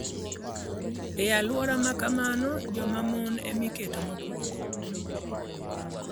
E alwora ma kamano, joma mon ma nigi teko ema iketo mokwongo.